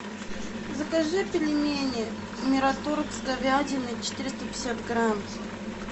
закажи пельмени мираторг с говядиной четыреста пятьдесят грамм